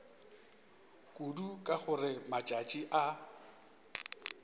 kudu ka gore matšatši a